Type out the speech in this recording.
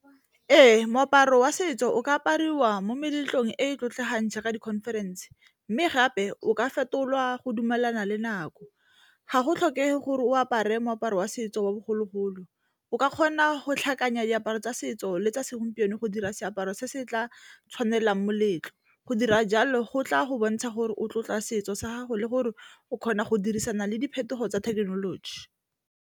Ee, moaparo wa setso o ka apariwa mo meletlong e e tlotlegang jaaka di-conference, mme gape o ka fetolwa go dumelana le nako ga go tlhokege gore o apare moaparo wa setso wa bogologolo, o ka kgona go tlhakanya diaparo tsa setso le tsa segompieno go dira seaparo se se tla tshwanelang moletlo. Go dira jalo go tla go bontsha gore o tlotla setso sa gago le gore o kgona go dirisana le diphetogo tsa thekenoloji.